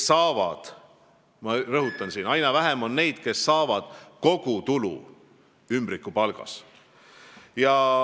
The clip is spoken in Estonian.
Ma rõhutan, et aina vähem on neid, kes saavad kogu tulu ümbrikupalgana.